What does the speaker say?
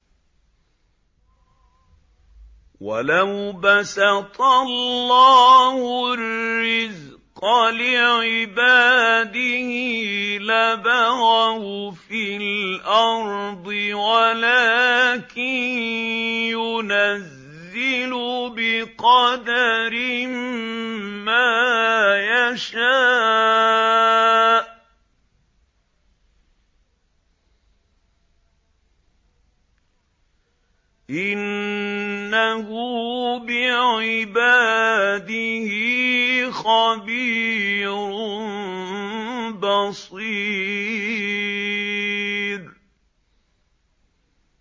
۞ وَلَوْ بَسَطَ اللَّهُ الرِّزْقَ لِعِبَادِهِ لَبَغَوْا فِي الْأَرْضِ وَلَٰكِن يُنَزِّلُ بِقَدَرٍ مَّا يَشَاءُ ۚ إِنَّهُ بِعِبَادِهِ خَبِيرٌ بَصِيرٌ